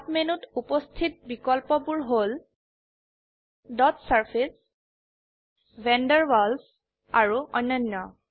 sub মেনুত উপস্থিত বিকল্পবোৰ হল dot surfaces van der Waals আৰু অন্যান্য